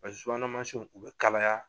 subuhana mansinw u bɛ kalaya